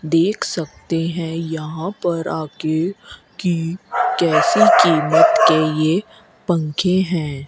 देख सकते है यहां पर आके की कैसे कीमत के ये पंखे है।